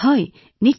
হয় নিশ্চয়